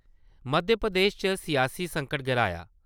मध्य प्रदेश च सियासी संकट गहराया ।